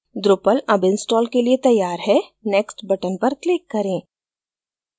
drupal अब installed के लिए तैयार है next button पर click करें